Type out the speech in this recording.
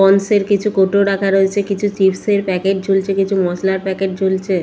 পন্সের কিছু কৌটো রাখা রয়েছে কিছু চিপস -এর প্যাকেট ঝুলছে কিছু মশলার প্যাকেট ঝুলছে ।